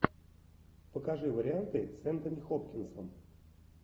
покажи варианты с энтони хопкинсом